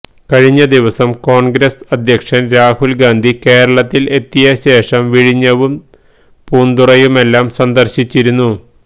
കഴിഞ്ഞ ദിവസം കോൺഗ്രസ് അദ്ധ്യക്ഷൻ രാഹുൽ ഗാന്ധി കേരളത്തിൽ എത്തിയ ശേഷം വിഴിഞ്ഞവും പൂന്തുറയുമെല്ലാം സന്ദർശിച്ചിരുന്നു